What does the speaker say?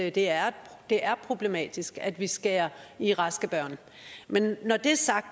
at det er problematisk at vi skærer i raske børn men